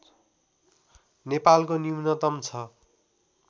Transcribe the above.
नेपालको न्यूनतम छ